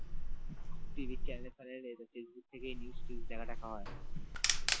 TV র channel ফ্যানেলে Facebook থেকে news টি দেখা টাকা হয়